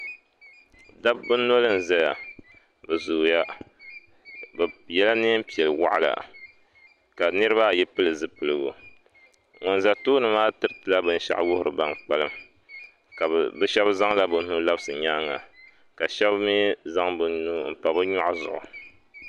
Dabba noli n zaya bɛ zooya bɛ yela niɛnpiɛl'waɣala ka niriba ayi pili zipiligu ban za tooni maa tiritila binshaɣu wuhiriba ban kpalim bɛ sheba zaŋla bɛ nuhi labisi bɛ nyaanga ka sheba mee n zaŋ bɛ nuhi m pa bɛ nyɔɣu zuɣu.